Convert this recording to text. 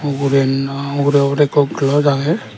ugure naa ugure obode ikko glass agey.